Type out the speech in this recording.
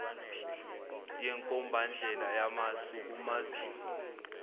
nenkombandlela yamasu kumaziko